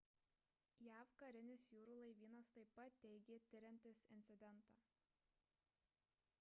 jav karinis jūrų laivynas taip pat teigė tiriantis incidentą